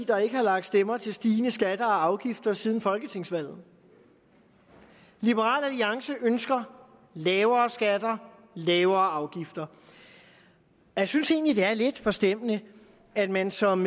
der ikke har lagt stemmer til stigende skatter og afgifter siden folketingsvalget liberal alliance ønsker lavere skatter lavere afgifter jeg synes egentlig det er lidt forstemmende at man som